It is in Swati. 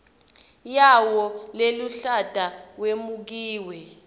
yawo leluhlata wemukiwe